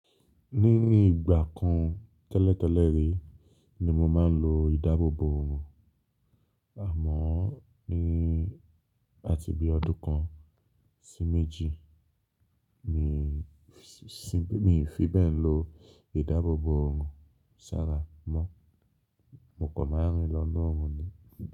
Níní ìgbà kan tẹ́lẹ̀tẹ́lẹ̀ rí ni mo máa ń lo ìdáàbòbò òòrùn, àmọ́ ní ati bí ọdún kan sí méjì mi fi bẹ́ẹ̀ lò ìdáàbòbò òòrùn sárà mọ́, mo kàn máa rìn lọ́na òòrùn ni.